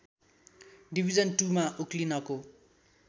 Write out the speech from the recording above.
division टुमा उक्लिनको